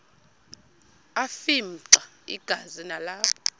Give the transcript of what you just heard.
afimxa igazi nalapho